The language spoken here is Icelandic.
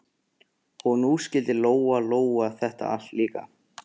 Og nú skildi Lóa-Lóa þetta allt líka.